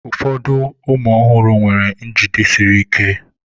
Ụfọdụ ụmụ ọhụrụ nwere njide siri ike.